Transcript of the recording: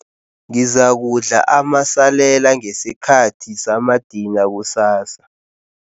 Ngizakudla amasalela ngesikhathi samadina kusasa.